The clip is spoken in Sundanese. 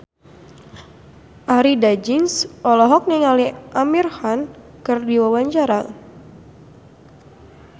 Arie Daginks olohok ningali Amir Khan keur diwawancara